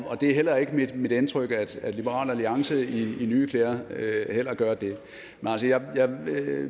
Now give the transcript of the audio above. det er heller ikke mit indtryk at liberal alliance i nye klæder gør det